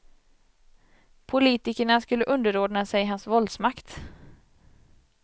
Politikerna skulle underordna sig hans våldsmakt.